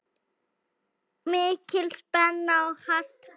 Mikil spenna og hart barist.